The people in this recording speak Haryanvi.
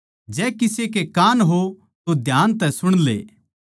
जै किसे के कान हों तो ध्यान तै सुण ले